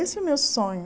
Esse é o meu sonho.